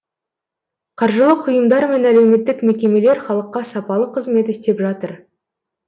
қаржылық ұйымдар мен әлеуметтік мекемелер халыққа сапалы қызмет істеп жатыр